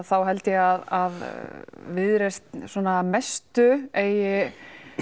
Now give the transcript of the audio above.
þá held ég að Viðreisn svona að mestu eigi